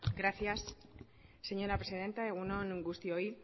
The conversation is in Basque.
gracias señora presidenta egun on guztioi